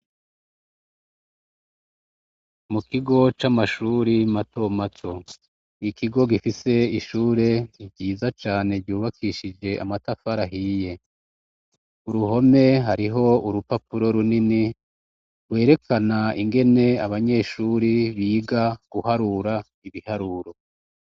Mu kigo c'amashure matomato. Ikigo gifise ishure ryiza cane ryubakishije amatafari ahiye. Uruhome hariho urupapuro runini rwerekana ingene abanyeshure biga guharura ibiharuro.